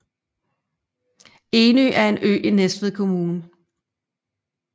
Enø er en ø i Næstved Kommune